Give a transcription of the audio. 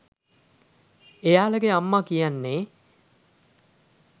එයාලගෙ අම්මා කියන්නේ?